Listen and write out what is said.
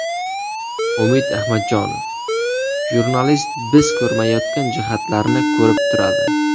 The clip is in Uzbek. Umid Ahmadjonov: Jurnalist biz ko‘rmayotgan jihatlarni ko‘rib turadi.